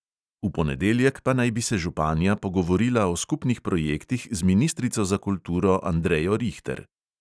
V ponedeljek pa naj bi se županja pogovorila o skupnih projektih z ministrico za kulturo andrejo rihter.